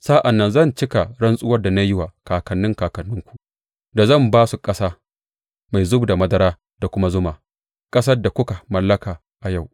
Sa’an nan zan cika rantsuwar da na yi wa kakanni kakanninku, da zan ba su ƙasa mai zub da madara da kuma zuma’ ƙasar da kuka mallaka a yau.